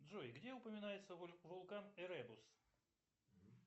джой где упоминается вулкан эребус